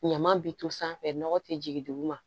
Ɲama bi to sanfɛ nɔgɔ te jigin duguma